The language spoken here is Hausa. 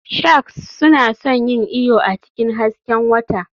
Sharks suna son yin iyo a cikin hasken wata.